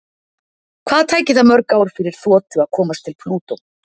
Hvað tæki það mörg ár fyrir þotu að komast til Plútó?